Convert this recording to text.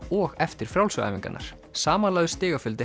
og eftir frjálsu æfingarnar samanlagður stigafjöldi